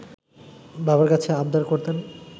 বাবার কাছে আবদার করতেন